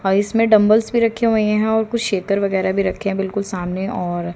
और इसमें डंबल में रखे हुए हैं और कुछ शेतर वगैराह भी रखें बिल्कुल सामने और--